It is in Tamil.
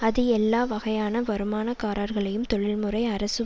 அது எல்லா வகையான வருமானக்காரர்களையும் தொழில் முறை அரசு